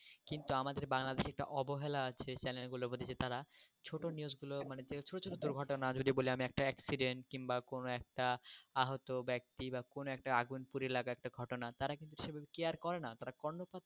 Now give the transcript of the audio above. কিন্তু আমাদের বাংলাদেশে যে অবহেলা আছে এই চ্যানেলগুলোর প্রতি যে তারা ছোট্ট news গুলো মানে ছোট্ট ছোট্ট ঘটনা ওদের কে বলে, আমরা একটা accident কিংবা কোনও একটা আহত ব্যক্তি বা আগুনপুরে এলাকা একটা ঘটনা তারা কিন্তু সেভাবে কেয়ার করে না. তারা কর্ণ।